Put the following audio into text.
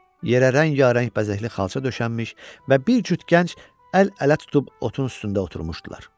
Yerə rəngbərəng bəzəkli xalça döşənmiş və bir cüt gənc əl-ələ tutub otun üstündə oturmuşdular.